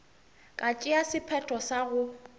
ka tšea sephetho sa go